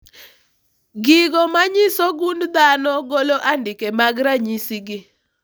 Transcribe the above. Gigo manyiso gund dhano golo andike mag ranyisi gi